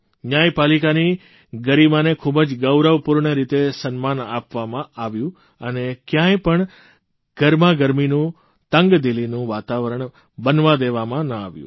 ન્યાયપાલિકાની ગરીમાને ખૂબ જ ગૌરવપૂર્ણ રીતે સન્માન આપવામાં આવ્યું અને કયાંય પણ ગરમાગરમીનું તંગદિલીનું વાતાવરણ બનવા દેવામાં ન આવ્યું